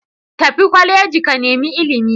Tafi kwaleji ka nemi ilimi